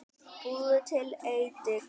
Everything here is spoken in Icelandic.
Búðu til edik